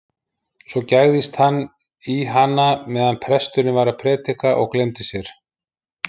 Svo gægðist hann í hana meðan presturinn var að prédika og gleymdi sér.